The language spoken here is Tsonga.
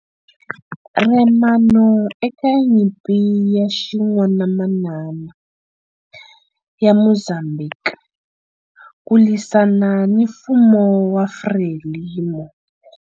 RENAMO eka Nyimpi ya Xin'wanamamani ya Mozambhiki ku lwisana ni mfumo wa FRELIMO.